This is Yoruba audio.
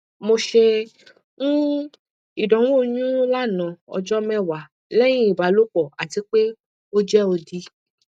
mo ṣe um idanwo oyun lana ọjọ mẹwa lẹhin ibalopọ ati pe o jẹ odi